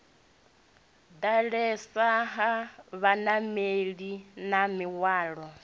ḓalesa ha vhanameli na mihwalo